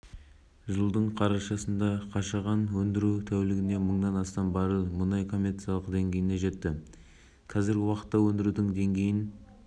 атырау қаласында елбасының қатысуымен әлемдегі ең ірі кен орындарының бірі және қазақстандағы бірінші теңіз кен орны болып табылатын қашаған ресми таныстырылды